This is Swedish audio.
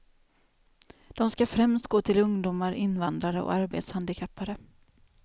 De skall främst gå till ungdomar, invandrare och arbetshandikappade.